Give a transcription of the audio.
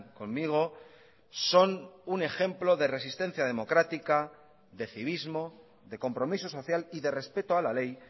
conmigo son un ejemplo de resistencia democrática de civismo de compromiso social y de respeto a la ley